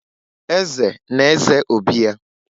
Eze na-eze obi ya.